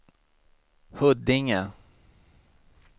Huddinge